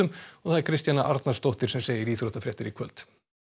Kristjana Arnarsdóttir segir íþróttafréttir í kvöld